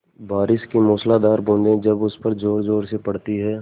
बारिश की मूसलाधार बूँदें जब उस पर ज़ोरज़ोर से पड़ती हैं